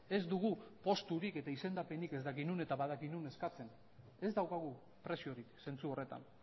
ez dugu posturik eta izendapenik ez dakit non eta badaki non eskatzen ez daukagu preziorik zentzu horretan